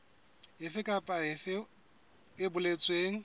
efe kapa efe e boletsweng